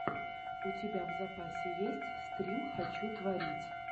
у тебя в запасе есть стрим хочу творить